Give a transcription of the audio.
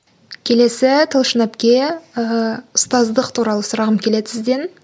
келесі талшын әпке ыыы ұстаздық туралы сұрағым келеді сізден